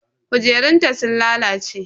Kujerunta sun lalace.